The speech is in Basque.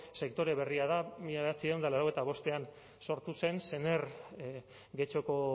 sektore berria da mila bederatziehun eta laurogeita bostean sortu zen sener getxoko